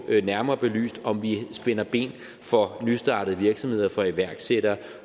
nærmere belyst om vi spænder ben for nystartede virksomheder for iværksættere